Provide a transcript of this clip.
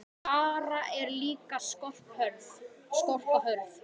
Barð er líka skorpa hörð.